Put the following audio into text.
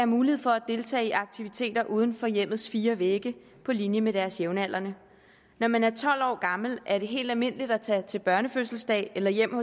mulighed for at deltage i aktiviteter uden for hjemmets fire vægge på linje med deres jævnaldrende når man er tolv år gammel er det helt almindeligt at tage til børnefødselsdag eller hjem